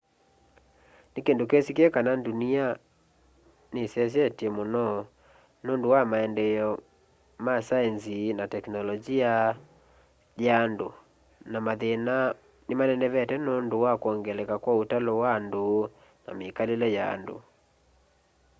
ni kindu kisikie kana ndunia ni sesyete mũno nũndũ wa maendeeo ya saenzi na teknolonji ya andũ na mathina nimanenevete nũndũ wa kwongeleka kwa ũtalo wa andũ na mikalile ya andũ